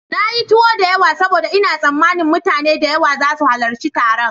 Na yi tuwo da yawa saboda ina tsammanin mutane da yawa za su halarci taron.